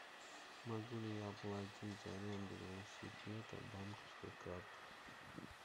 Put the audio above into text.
могу ли я оплатить аренду велосипеда банковской картой